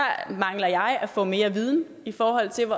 mangler jeg at få mere viden i forhold til